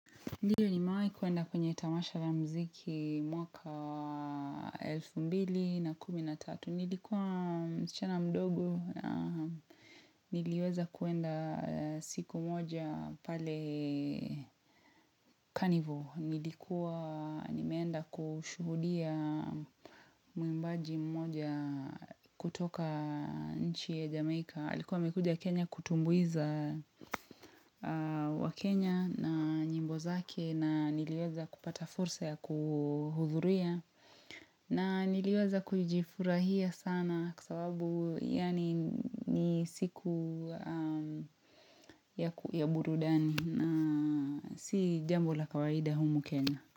Ndiyo ni mewahi kwenda kwenye tamasha vya muziki mwaka wa elfu mbili na kumi na tatu. Nilikuwa msichana mdogo, niliweza kwenda siku moja pale carnival. Nilikuwa, nimeenda kushuhudia mwimbaji moja kutoka nchi ya Jamaica. Alikuwa mekuja Kenya kutumbuiza wa Kenya na nyimbo zake na niliweza kupata fursa ya kuhudhuruia na niliweza kujifurahia sana kwa sababu yani ni siku ya burudani na si jambo la kawaida humu Kenya.